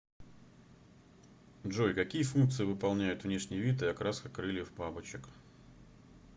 джой какие функции выполняют внешний вид и окраска крыльев бабочек